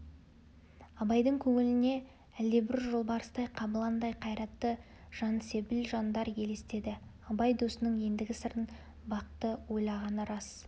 абайдың көңіліне әлдебір жолбарыстай қабыландай қайратты жансебіл жандар елестеді абай досының ендігі сырын бақты ойлағаны рас